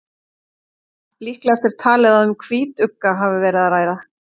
Líklegast er talið að um hvítugga hafi verið að ræða.